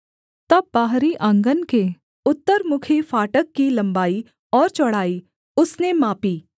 तब बाहरी आँगन के उत्तरमुखी फाटक की लम्बाई और चौड़ाई उसने मापी